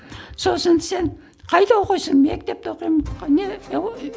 сосын сен қайда оқисың мектепте оқимын